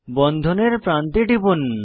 বন্ধনের প্রান্তে টিপুন